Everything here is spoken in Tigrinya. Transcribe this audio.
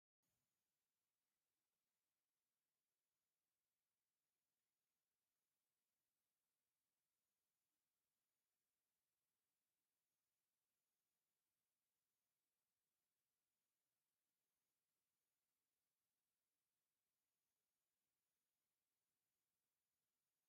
ኣብዚ ብዙሓት ህጻናት ኣብ እግሪ እምባ ኣብ ብርሃን ጸሓይ ኮፍ ኢሎም ይረኣዩ። መብዛሕትአን ኣዋልድ ኮይነን፡ ብማዕረን ብተፈጥሮኣዊ ተስፋ ዘለወንን ዝመስላ እየን። እዛ ስእሊ ኣብ ህጻናት እትርከብ ንጹህ ተስፋን ገነት ህይወትን እትገልጽ እያ።